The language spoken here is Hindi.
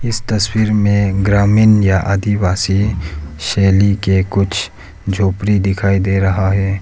इस तस्वीर में ग्रामीण या आदिवासी शैली के कुछ झोपड़ी दिखाई दे रहा है।